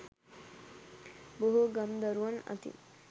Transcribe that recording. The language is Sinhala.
බොහෝ ගම් දරුවන් අතින්